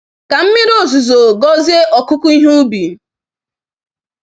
Ka mmiri ozuzo gọzie ọkụkụ ihe ubi.